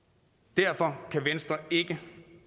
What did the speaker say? derfor kan venstre ikke